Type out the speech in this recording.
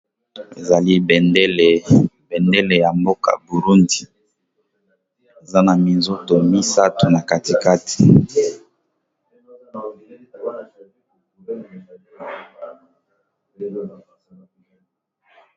Ezali bendele ,bendele ya mboka burundi za na minzuto 3na katikate.